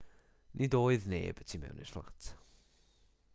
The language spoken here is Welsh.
nid oedd neb y tu mewn i'r fflat